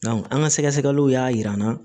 an ka sɛgɛsɛgɛliw y'a yira an na